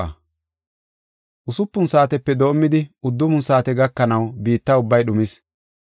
Usupun saatepe doomidi, uddufun saate gakanaw biitta ubbay dhumis.